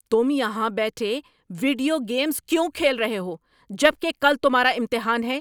تم یہاں بیٹھے ویڈیو گیمز کیوں کھیل رہے ہو جب کہ کل تمہارا امتحان ہے؟